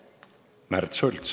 Märt Sults.